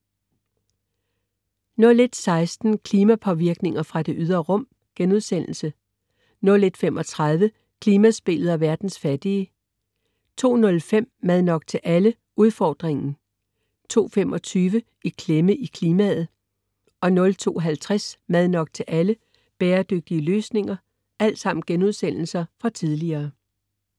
01.16 Klimapåvirkninger fra det ydre rum* 01.35 Klimaspillet og verdens fattige* 02.05 Mad nok til alle? Udfordringen* 02.25 I klemme i klimaet* 02.50 Mad nok til alle? Bæredygtige løsninger*